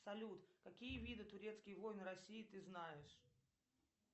салют какие виды турецкие войны россии ты знаешь